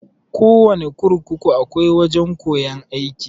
Kowana kurkuku akwai wajan koyan aiki.